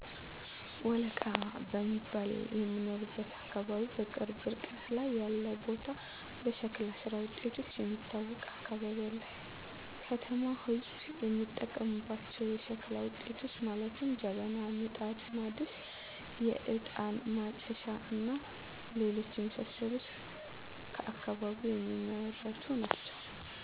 ወለቃ በሚባል ከምኖርበት አካባቢ በቅርብ ርቀት ላይ ያለ ቦታ በሸክላ ስራ ውጤቶች የሚታወቅ አካባቢ አለ። የከተማው ህዝብ የሚጠቀምባቸው የሸክላ ውጤቶች ማለትም ጀበና፣ ምጣድ፣ ድስት፣ የእጣን ማጨሻ እና ሌሎች የመሳሰሉትም ከአካባቢው የሚመረቱ ናቸው